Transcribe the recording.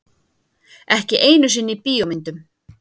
Ekki einu sinni í bíómyndum.